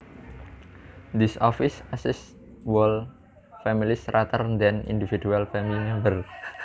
This office assists whole families rather than individual family members